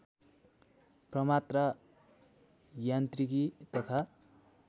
प्रमात्रा यान्त्रिकी तथा